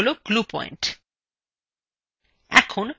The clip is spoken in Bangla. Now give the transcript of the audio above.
এগুলি হলো glue পয়েন্ট